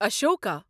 Ashoka